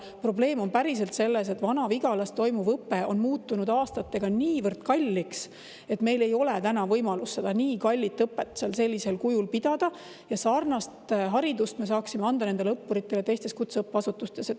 Probleem on päriselt selles, et Vana-Vigalas toimuv õpe on muutunud aastatega niivõrd kalliks, et meil ei ole enam võimalust nii kallist õpet seal sellisel kujul pidada, ja sarnast haridust me saaksime anda nendele õppuritele teistes kutseõppeasutustes.